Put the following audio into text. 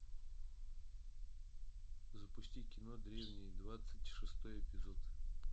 запусти кино древние двадцать шестой эпизод